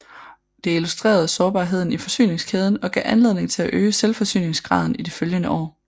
Det illustrerede sårbarheden i forsyningskæden og gav anledning til at øge selvforsyningsgraden i de følgende år